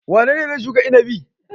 Wane ne zai shuka inabi?